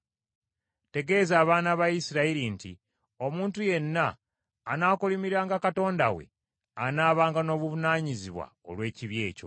Tegeeza abaana ba Isirayiri nti omuntu yenna anaakolimiranga Katonda we anaabanga n’obuvunaanyizibwa olw’ekibi ekyo.